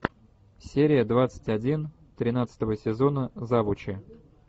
серия двадцать один тринадцатого сезона завучи